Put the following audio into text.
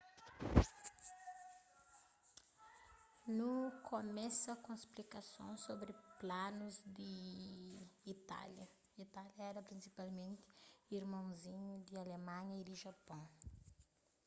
nu kumesa ku un splikason sobri planus di itália itália éra prinsipalmenti irmonzinhu di alemanha y di japôn